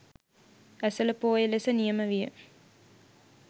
ඇසළ පෝය ලෙස නියම විය